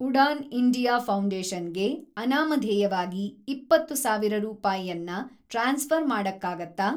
Udan India foundation ಗೆ ಅನಾಮಧೇಯವಾಗಿ ೨೦೦೦೦ ರೂಪಾಯನ್ನ ಟ್ರಾನ್ಸ್‌ಫ಼ರ್‌ ಮಾಡಕ್ಕಾಗತ್ತಾ?